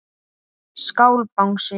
Skál Bangsi.